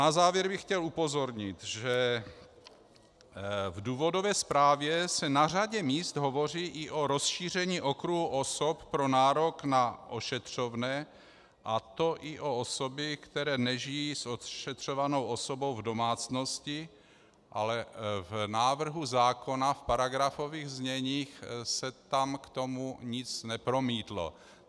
Na závěr bych chtěl upozornit, že v důvodové zprávě se na řadě míst hovoří i o rozšíření okruhu osob pro nárok na ošetřovné, a to i o osoby, které nežijí s ošetřovanou osobou v domácnosti, ale v návrhu zákona v paragrafových zněních se tam k tomu nic nepromítlo.